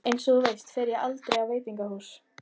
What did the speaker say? Einsog þú veist fer ég aldrei á veitingahús.